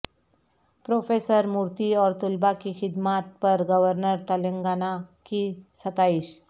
professor Murthy اور طلبہ کی خدمات پر گورنر تلنگانہ کی ستائش